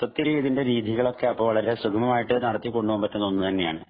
മൊത്തത്തില്‍ ഇതിന്‍റെ രീതികളൊക്കെ അപ്പൊ വളരെ സുഗമമായി നടത്തി കൊണ്ട് പോകാന്‍ പറ്റുന്ന ഒന്ന് തന്നെയാണ്.